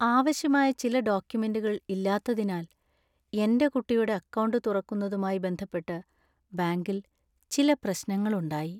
ആവശ്യമായ ചില ഡോക്യുമെന്റുകൾ ഇല്ലാത്തതിനാൽ എന്‍റെ കുട്ടിയുടെ അക്കൗണ്ട് തുറക്കുന്നതുമായി ബന്ധപ്പെട്ട് ബാങ്കിൽ ചില പ്രശ്നങ്ങൾ ഉണ്ടായി.